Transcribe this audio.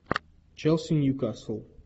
челси ньюкасл